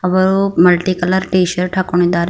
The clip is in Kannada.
ಅವರು ಮಲ್ಟಿ ಕಲರ್ ಟೀ ಶರ್ಟ್ ಹಾಕೊಂಡಿದ್ದಾರೆ.